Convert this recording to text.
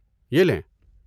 یہ لیں۔